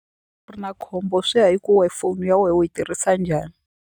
U ri na khombo swi ya hi ku we foni ya we u yi tirhisa njhani.